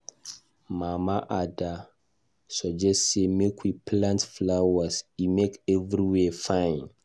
Mama Ada suggest say make we plant flowers, e make everywhere fine